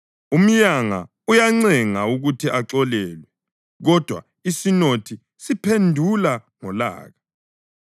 Umyanga uyancenga ukuthi axolelwe, kodwa isinothi siphendula ngolaka.